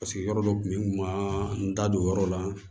Paseke yɔrɔ dɔ tun bɛ yen n kun ma n da don o yɔrɔ la